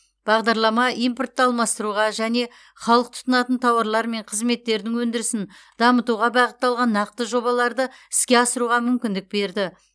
бағдарлама импортты алмастыруға және халық тұтынатын тауарлар мен қызметтердің өндірісін дамытуға бағытталған нақты жобаларды іске асыруға мүмкіндік берді